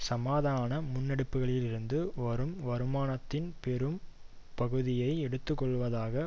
சமாதான முன்னெடுப்புகளிலிருந்து வரும் வருமானத்தின் பெரும் பகுதியை எடுத்துக்கொள்வதாக